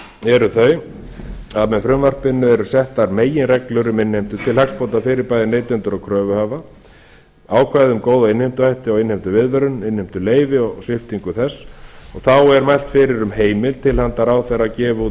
eru þau að með frumvarpinu eru settar meginreglur um innheimtu til hagsbóta fyrir bæði neytendur og kröfuhafa ákvæði um góða innheimtuhætti og innheimtuviðvörun innheimtuleyfi og sviptingu þess og þá er mælt fyrir um heimild til handa ráðherra að gefa út